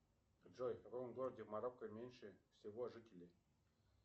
джой в каком городе марокко меньше всего жителей